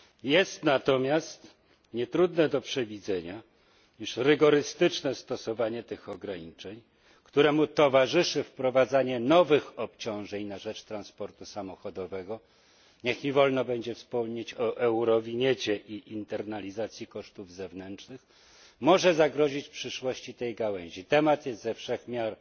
Jest natomiast nietrudne do przewidzenia, iż rygorystyczne stosowanie tych ograniczeń, któremu towarzyszy wprowadzanie nowych obciążeń na rzecz transportu samochodowego niech mi wolno będzie wspomnieć o eurowiniecie i internalizacji kosztów zewnętrznych może zagrozić przyszłości tej gałęzi. Temat jest ze wszech miar